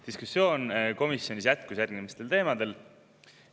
Diskussioon komisjonis jätkus järgmistel teemadel.